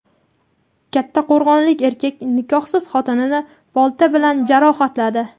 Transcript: Kattaqo‘rg‘onlik erkak nikohsiz xotinini bolta bilan jarohatladi.